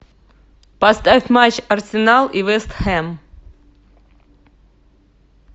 поставь матч арсенал и вест хэм